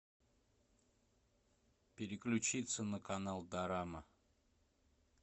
переключиться на канал дорама